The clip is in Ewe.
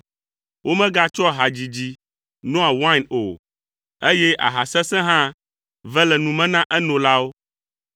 Womegatsɔa hadzidzi noa wain o, eye aha sesẽ hã ve le nu me na enolawo